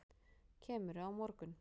Kemurðu á morgun?